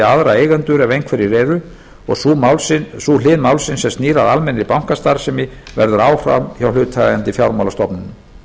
aðra eigendur ef einhverjir eru og sú hlið málsins sem snýr að almennri bankastarfsemi verður áfram hjá hlutaðeigandi fjármálastofnunum